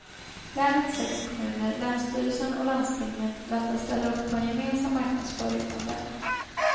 Länets sex kommuner, länsstyrelsen och landstinget väntas ställa upp på en gemensam marknadsföring av länet.